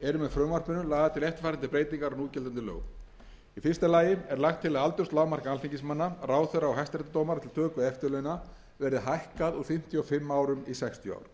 eru með frumvarpinu lagðar til eftirfarandi breytingar á núgildandi lögum í fyrsta lagi er lagt til að aldurslágmark alþingismanna ráðherra og hæstaréttardómara til töku eftirlauna verði hækkað úr fimmtíu og fimm árum í sextíu ár í öðru